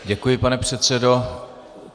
Děkuji, pane předsedo.